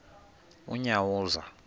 unyawuza